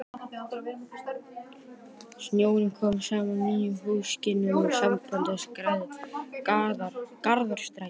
Stjórnin kom saman í nýjum húsakynnum sambandsins að Garðastræti